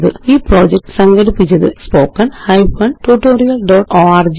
ഈ പ്രൊജക്റ്റ് സംഘടിപ്പിച്ചത് httpspoken tutorialorg